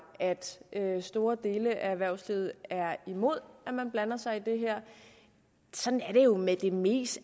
at store dele af erhvervslivet er imod at man blander sig i det her sådan er det jo med det meste